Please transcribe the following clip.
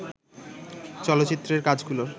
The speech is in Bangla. চলচ্চিত্রের কাজগুলোর